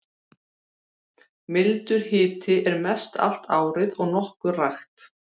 Mildur hiti er mest allt árið og nokkuð rakt.